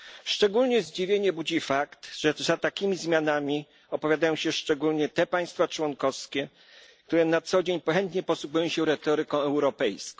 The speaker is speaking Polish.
Szczególne zdziwienie budzi fakt, że za takimi zmianami opowiadają się szczególnie te państwa członkowskie, które na co dzień chętnie posługują się retoryką europejską.